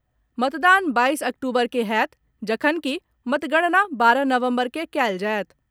मतदान बाईस अक्टूबर के होयत, जखनकि मतगणना बारह नवम्बर के कयल जायत।